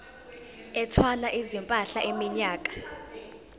ethwala izimpahla iminyaka